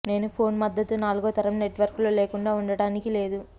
నేను ఫోన్ మద్దతు నాలుగో తరం నెట్వర్క్లు లేకుండా ఉండడానికి లేదు